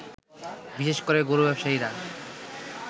বিশেষ করে গরু ব্যবসায়ীরা